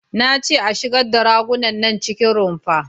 Na ce a shigar da ragunan nan cikin rumfa!